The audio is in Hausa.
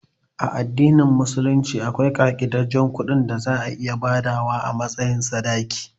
A addinin musulunci akwai kaɗaiɗaicin kuɗin da za a iya badawa a matsayin sadaki